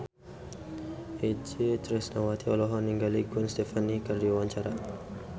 Itje Tresnawati olohok ningali Gwen Stefani keur diwawancara